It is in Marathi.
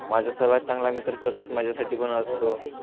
माझा सर्वात चांगला मित्र सतत माझ्या साठी पण असतो.